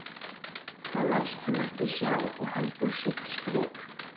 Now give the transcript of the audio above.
Það læst hann ekki sjá og heldur sitt strik.